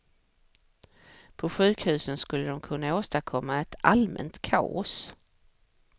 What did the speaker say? På sjukhusen skulle de kunna åstadkomma ett allmänt kaos.